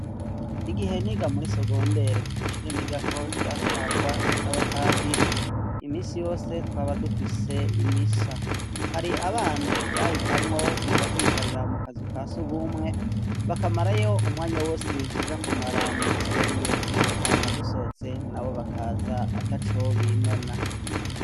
Igihe niga muri sogondere, ishuri nigako ryatwagwa n'abapadiri, imisi yose twaba dufise imisa, hari abana bahitamwo kuja kwicarira mu kazu kasugwumwe bakamarayo umwanya wose tuja kumara mw'isengero, hama dusohotse nabo bakaza ataco binona.